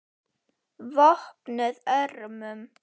VOPNUÐ ÖRMUM